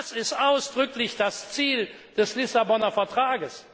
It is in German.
Das ist ausdrücklich das Ziel des Lissabonner Vertrags!